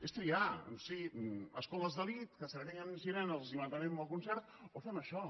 és triar si a escoles d’elit que segreguen nens i nenes i els mantenim el concert o fem això